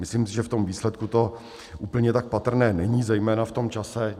Myslím si, že v tom výsledku to úplně tak patrné není zejména v tom čase.